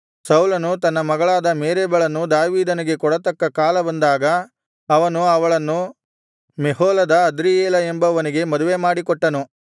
ಸೌಲನು ತನ್ನ ಮಗಳಾದ ಮೇರಬಳನ್ನು ದಾವೀದನಿಗೆ ಕೊಡತಕ್ಕ ಕಾಲ ಬಂದಾಗ ಅವನು ಅವಳನ್ನು ಮೆಹೋಲದ ಅದ್ರೀಯೇಲ ಎಂಬವನಿಗೆ ಮದುವೆಮಾಡಿ ಕೊಟ್ಟನು